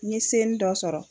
N seni dɔ sɔrɔ